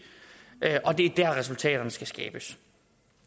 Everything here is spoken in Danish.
er dér resultaterne skal skabes